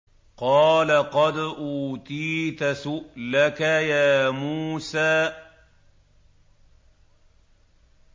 قَالَ قَدْ أُوتِيتَ سُؤْلَكَ يَا مُوسَىٰ